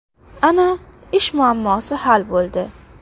Ana, ish muammosi hal bo‘ldi!